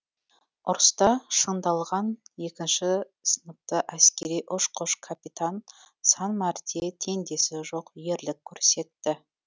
ұрыста шыңдалған екінші сыныпты әскери ұшқыш капитан сан мәрте теңдесі жоқ ерлік көрсетті